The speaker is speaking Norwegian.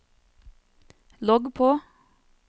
logg på